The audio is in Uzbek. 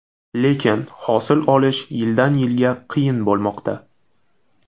Lekin hosil olish yildan-yilga qiyin bo‘lmoqda.